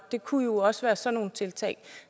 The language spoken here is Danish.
det kunne også være sådan nogle tiltag